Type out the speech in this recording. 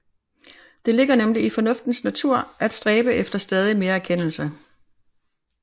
Det ligger nemlig i fornuftens natur at stræbe efter stadig mere erkendelse